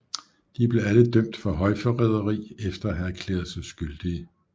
De blev alle dømt for højforræderi efter at have erklæret sig skyldige